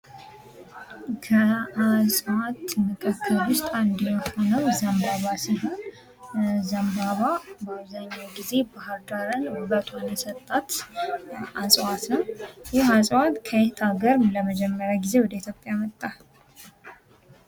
ከእፅዋት መካከል ውስጥ አንዱና የሆነው ዘንባባ ሲሆን ፤ ዘንባባ በአብዛኛው ጊዜ ባህር ዳርን ውበቷን የሰጣት እፅዋት ነው። ይህ እፅዋት ከየት አገር ለመጀመሪያ ጊዜ ወደ ኢትዮጵያ መጣ?